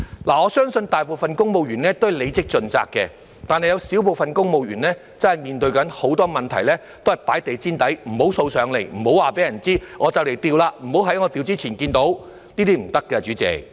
我相信大部分公務員都是履職盡責的，但是有少部分公務員真的面對很多問題時，都是放在地毯底，不讓掃出來，不讓告訴別人，"我快調職了，不要在我調職前看見"——這樣是不行的，代理主席。